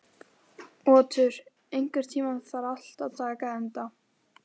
Otur, einhvern tímann þarf allt að taka enda.